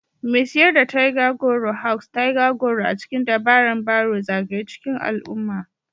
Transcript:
Mai siyar da tiger goro Hawks tiger goro a cikin dabaran barrow zagaye cikin al'umma